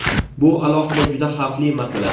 Bu alohida juda xavfli masala.